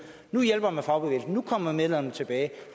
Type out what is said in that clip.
nu hjælper man fagbevægelsen og nu kommer medlemmerne tilbage